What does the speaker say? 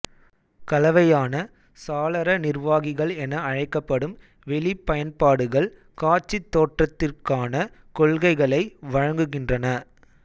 கலவையான சாளர நிர்வாகிகள் என அழைக்கப்படும் வெளிப் பயன்பாடுகள் காட்சித் தோற்றத்திற்கான கொள்கைகளை வழங்குகின்றன